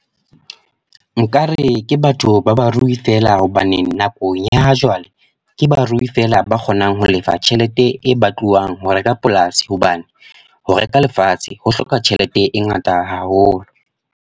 Nkare ke batho ba barui feela. Hobaneng nako senyeha jwale. Ke barui feela ba kgonang ho lefa tjhelete e batluwang ho reka polasi. Hobane ho reka lefatshe ho hloka tjhelete e ngata haholo.